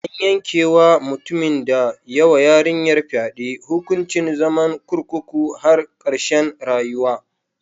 An yanke wa mutumin da ya wa yarinyar fyade hukuncin zaman kurkukun har karshen rayuwa.